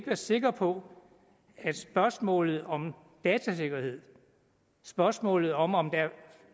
være sikre på at spørgsmålet om datasikkerheden spørgsmålet om om der er